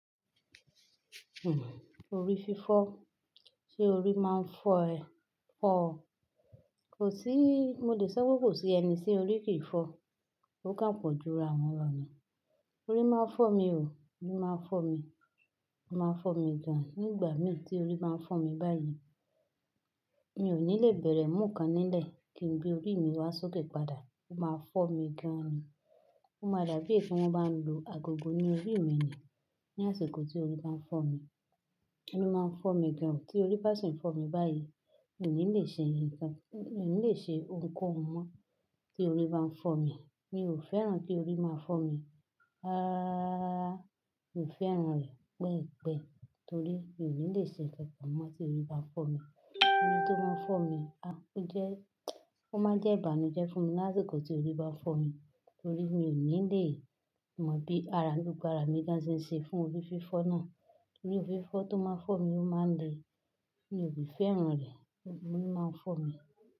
Orí fífọ́, ṣe orí máa ń fọ́ ẹ? Fọ ọ. Kò sí, mo lè sọ pé kò sí ẹni tí orí kìí fọ. Ó kàn pọ̀ jú ra wọn lo ni. Orí máa ń fọ́ mi o, orí máa ń fọ́ mi. Ó máa ń fọ́ mi gan-an. Nígbà mì tí orí n ba fọ́ mi báyìí, mi ò ní lè bẹ̀rẹ̀ mu n kan nílẹ̀ kí n gbe orí mi wá sókè padà. Ó máa ń fọ́ mi gan-an ni. Ó máa dàbí ètí wọ́n bá ń lu agogo ní orí mi ni ní àsìkò tí orí máa ń fọ́ mi. Ori máa ń fọ́ mi gan-an o. Tí orí bá sì ń fọ́ mi báyìí, mi ò ní lè ṣe ǹkan, mi ò ní lè ṣe ohunkóhun mọ́ tí orí bá ń fọ́ mi. Mi ò fẹ́ràn kí orí máa fọ́ mi. Rararara mi ò fẹ́ràn rẹ̀ pẹ́ẹ̀pẹ́e torí mi ò ní lè ṣe nkankan mọ́ tí orí bá ń fọ́ mi. Orí tó máa ń fọ́ mi a, ó jẹ́, ó máa ń jẹ́ ìbànújẹ́ fún mi lásìkò tí orí bá fọ́ mi torí mi ò ní lè mọ bí ara gbogbo ara mi ṣe ń ṣe fún orí fífọ́ náà. Orí fífọ́ tó máa ń fọ́ mi ó máa ń le. Mi ò si fẹ́ràn rẹ̀, orí máa ń fọ́ mi.